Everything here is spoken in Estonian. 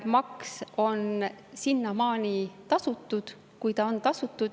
Maks on sinnamaani tasutud, kuhumaani see on tasutud.